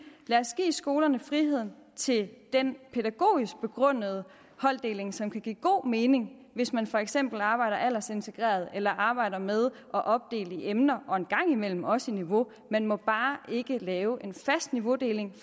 lad os give skolerne friheden til den pædagogisk begrundede holddeling som kan give god mening hvis man for eksempel arbejder aldersintegreret eller arbejder med at opdele i emner og en gang imellem også i niveau man må bare ikke lave en fast niveaudeling